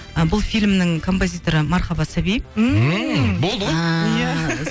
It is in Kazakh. ы бұл фильмнің композиторы мархаба сәби ммм болды ғой ааа иә